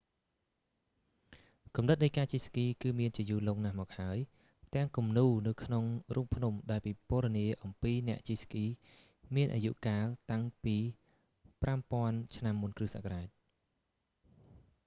គំនិតនៃការជិះស្គីគឺមានជាយូរលង់ណាស់មកហើយ ផ្ទាំងគំនូរនៅក្នុងរូងភ្នំដែលពិពណ៌នាអំពីអ្នកជិះស្គីមានអាយុកាលតាំងពី 5000 ឆ្នាំមុនគ្រឹះសករាជ